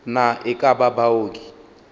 na e ka ba baoki